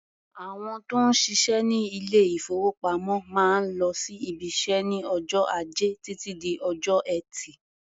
Àwọn tó ń ṣiṣẹ́ ní ilé-ìfowópamọ́ máa ń lọ sí ibiṣẹ́ ní ọjọ́ Ajẹ́ títí di ọjọ́ Ẹtì.